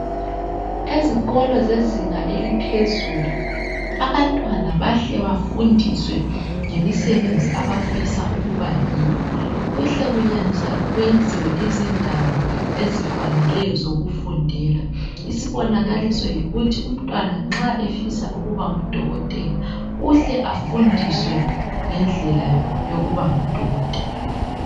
Abantwana abasezingeni eliphezulu bahle bafundiswe ngemisebenzi abafisa ukuyenza kuhle kwenziwe indawo ezifaneyo zokufundela isibona Kalispell yithi nxa umntwana efisa ukuba ngudokotela uhle afundiswe ngendlela yokubana ngudokotela